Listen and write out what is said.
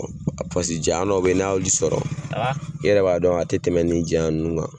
Ɔ Paseke jayan dɔ be yen n'a y'olu sɔrɔ i yɛrɛ b'a dɔn a te tɛmɛ ni janya nunnu kan